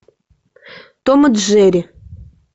том и джерри